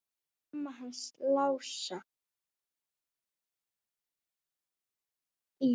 Mamma hans Lása í